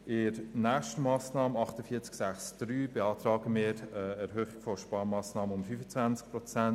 Bei der nächsten Massnahme 48.6.3 beantragen wir Ihnen eine Erhöhung der Sparmassnahme um 25 Prozent.